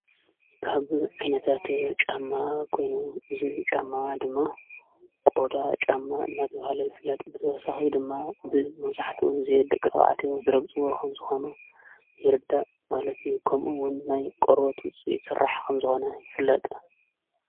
ካብ ዕነታት ጫማ ኴኑ እዝ ጫማ ድማ ቆዳ ጫማ ናትብሃለ ይፍለጥ ብትወሳሒይ ድማ ብ ምዛሕት እጊዜ ደቂ ተባዓትዎ ዘረገፅዎ ኸምዝኾኑ ይርዳእ ማለቲ ከምኡውን ናይ ቖርበት ውፂኢት ሠራሕ ኸምዝኾነ ይፍለጥ።